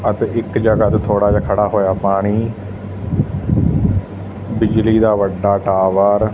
ਅਤੇ ਇੱਕ ਜਗਹਾ ਤੇ ਥੋੜਾ ਜਿਹਾ ਖੜਾ ਹੋਇਆ ਪਾਣੀ ਬਿਜਲੀ ਦਾ ਵੱਡਾ ਟਾਵਰ ।